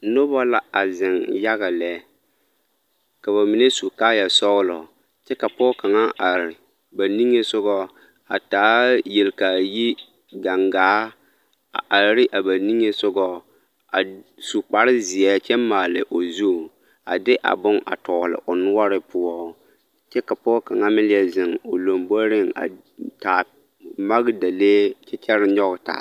Nobɔ la a zeŋ yaga lɛ ka bamine su kaaya sɔgelɔ kyɛ ka pɔge kaŋa are ba niŋesogɔ a taa yelkaayi gaŋgaa a are ne a ba niŋesogɔ a su kpare zeɛ kyɛ maale o zu a de a bone a tɔgele o noɔre poɔ kyɛ ka pɔge kaŋa meŋ leɛ zeŋ o lomboriŋ a taa magedalee kyɛ kyɛre nyɔge taa.